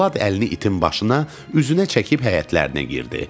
Polad əlini itin başına, üzünə çəkib həyətlərinə girdi.